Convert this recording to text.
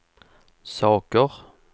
saker